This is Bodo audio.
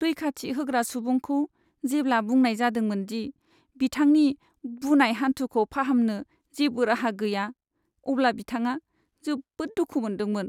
रैखाथि होग्रा सुबुंखौ जेब्ला बुंनाय जादोंमोन दि बिथांनि बुनाय हान्थुखौ फाहामनो जेबो राहा गैया, अब्ला बिथाङा जोबोद दुखु मोन्दोंमोन।